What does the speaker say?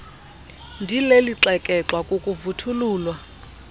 ndileli xekexwa kukuvuthululwa